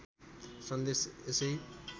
सन्देश यसै